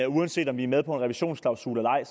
uanset om vi er med på en revisionsklausul eller ej